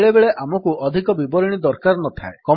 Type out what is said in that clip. ବେଳେବେଳେ ଆମକୁ ଅଧିକ ବିବରଣୀ ଦରକାର ନଥାଏ